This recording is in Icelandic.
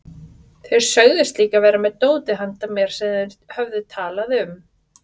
Þeir sögðust líka vera með dótið handa mér sem þeir höfðu talað um.